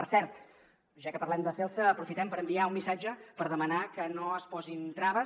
per cert ja que parlem de celsa aprofitem per enviar un missatge per demanar que no es posin traves